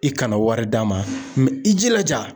I kana wari d'a ma i jilaja.